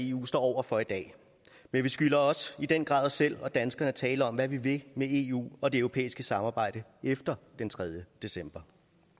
eu står over for i dag men vi skylder også i den grad os selv og danskerne at tale om hvad vi vil med eu og det europæiske samarbejde efter den tredje december